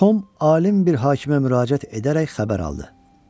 Tom alim bir hakimə müraciət edərək xəbər aldı.